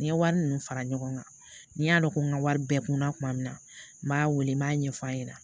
Ni n ye wari ninnu fara ɲɔgɔn kan n y'a dɔn ko n ka wari bɛɛ kunna tuma min na n b'a wele n b'a ɲɛf'a ɲɛna